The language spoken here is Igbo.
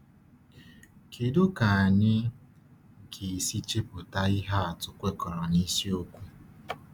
Kédú ka anyị ga-esi chepụta ihe atụ kwekọrọ na isiokwu?